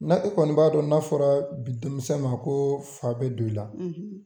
N'a e kɔni b'a dɔn n'a fɔra bi denmisɛn ma ko fa bɛ don i la